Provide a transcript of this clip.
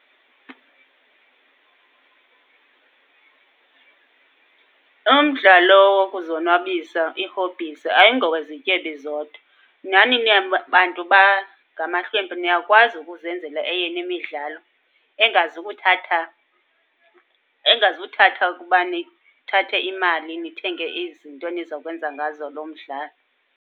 Umdlalo wokuzonwabisa, ii-hobbies, ayingowezityebi zodwa. Nani bantu bangamahlwempu niyakwazi ukuzenzela eyenu imidlalo engazukuthatha, engazuthatha ukuba nithathe imali nithenge izinto enizakwenza ngazo loo mdlalo.